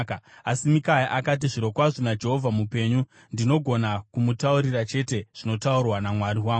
Asi Mikaya akati, “Zvirokwazvo naJehovha mupenyu ndinogona kumutaurira chete zvinotaurwa naMwari wangu.”